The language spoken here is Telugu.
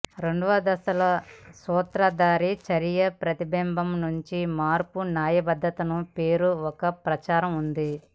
రెండవ దశలో సూత్రధారి చర్య ప్రతిబింబం నుండి మార్పు న్యాయబద్దతను పేరు ఒక ప్రచారం ఉంది